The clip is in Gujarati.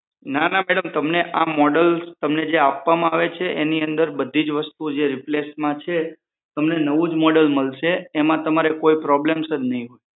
ના ના મેડમ આ મોડેલ તમને જે આપવામાં આવે છે એની અંદર બધી જ વસ્તુ જે રિપ્લેસમાં છે તમને નવું જ મોડેલ મળશે તેમાં તમારે કોઈ problems જ નઈ હોય